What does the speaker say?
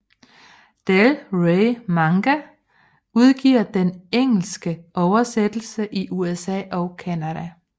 Del Rey Manga udgiver den engelske oversættelse i USA og Canada